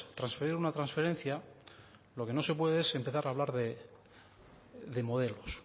transferir una transferencia lo que no se puede es empezar a hablar de modelos